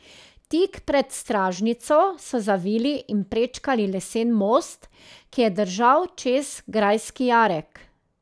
Tik pred stražnico so zavili in prečkali lesen most, ki je držal čez grajski jarek.